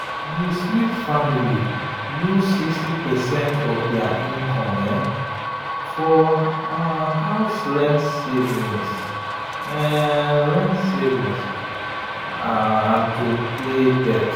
the smith family use 60 percent of their income for house rent savings rent savings and to pay debt.